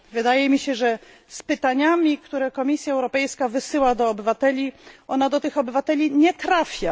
Wydaje mi się, że z pytaniami, które Komisja Europejska wysyła do obywateli, ona do tych obywateli nie trafia.